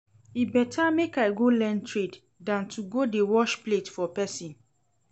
E better make I go learn trade dan to go dey wash plate for person